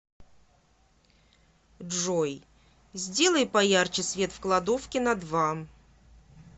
джой сделай поярче свет в кладовке на два